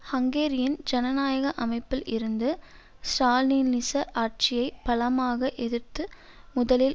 ஹங்கேரியின் ஜனநாயக அமைப்பில் இருந்து ஸ்ராலினிச ஆட்சியை பலமாக எதிர்த்து முதலில்